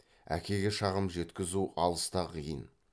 әкеге шағым жеткізу алыс та қиын